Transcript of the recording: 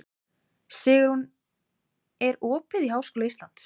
Sigurunn, er opið í Háskóla Íslands?